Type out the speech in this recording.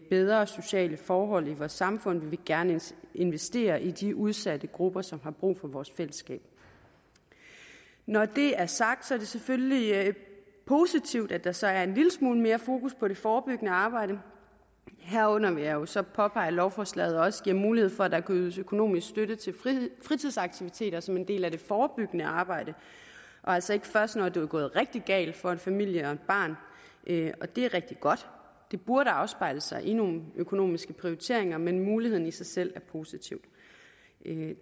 bedre sociale forhold i vores samfund vi vil gerne investere i de udsatte grupper som har brug for vores fællesskab når det er sagt er det selvfølgelig positivt at der så er en lille smule mere fokus på det forebyggende arbejde her vil jeg jo så påpege at lovforslaget også giver mulighed for at der kan ydes økonomisk støtte til fritidsaktiviteter som en del af det forebyggende arbejde og altså ikke først når det er gået rigtig galt for en familie og et barn og det er rigtig godt det burde afspejle sig i nogle økonomiske prioriteringer men muligheden i sig selv er positiv